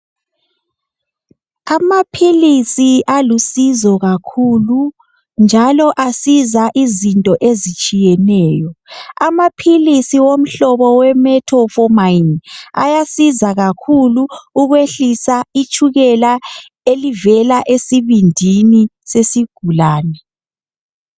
Amaphilisi alusizo kakhulu njalo asiza izinto ezitshiyeneyo. Amaphilisi womhlobo we metformin ayasiza kakhulu ukwehlisa itshukela elivela esibindini sesigulane.